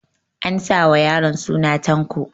An sa wa yaron suna Tanko